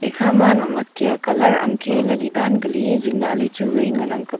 ekha ma nak nak kya colour angkhe yali daan keli zing lah ley chu wai ngan ang kap ley.